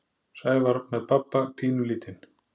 Sævar með pabba pínulítinn.